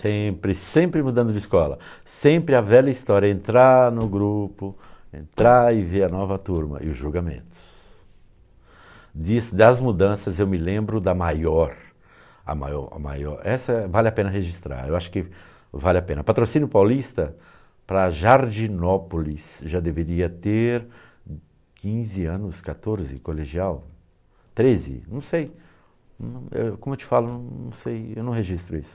sempre, sempre mudamos de escola sempre a velha história, entrar no grupo, entrar e ver a nova turma e os julgamentos, disso das mudanças eu me lembro da maior a maior, a maior, essa vale a pena registrar, eu acho que vale a pena, patrocínio paulista para Jardinópolis já deveria ter quinze anos, quatorze, colegial, treze, não sei como eu te falo, não sei eu não registro isso